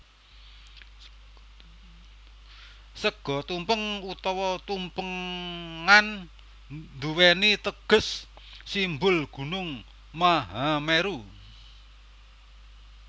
Sega tumpeng utawa tumpengan nduwèni teges simbol gunung Mahameru